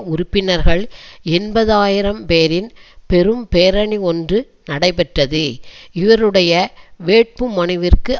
உறுப்பினர்கள் எண்பது ஆயிரம் பேரின் பெரும் பேரணி ஒன்று நடைபெற்றது இவருடைய வேட்புமனுவிற்கு